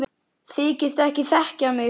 Þykist ekki þekkja mig!